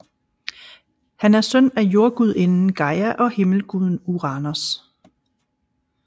Han er søn af jordgudinden Gaia og himmelguden Uranos